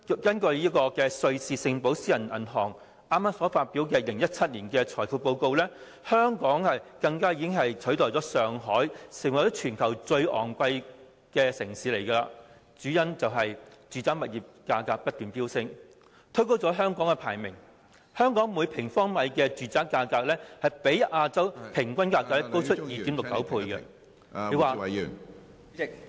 根據瑞士寶盛私人銀行剛發表的2017年《財富報告：亞洲》，香港已取代上海成為最昂貴城市，住宅物業價格不斷飆升，推高了香港的排名，香港每平方米住宅價格比亞洲平均價格高 2.69 倍......